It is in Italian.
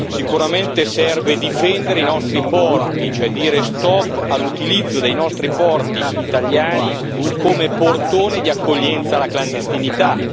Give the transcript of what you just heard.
Sicuramente serve difendere i nostri porti, cioè dire stop all'utilizzo dei nostri porti italiani come portone di accoglienza alla clandestinità.